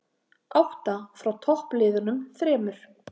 Átta frá toppliðunum þremur